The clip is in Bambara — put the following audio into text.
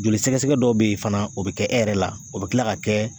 Joli sɛgɛsɛgɛ dɔw be yen fɛnɛ o be kɛ e yɛrɛ la o be kila ka kɛ